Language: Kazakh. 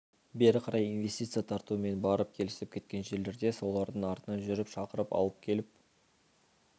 бері қарай инвестиция тарту мен барып келісіп кеткен жерлерде солардың артынан жүріп шақырып алып келіп